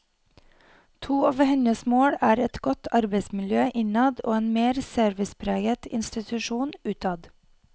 To av hennes mål er et godt arbeidsmiljø innad og en mer servicepreget institusjon utad.